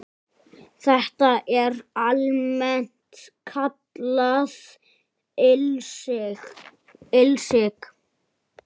Þetta er almennt kallað ilsig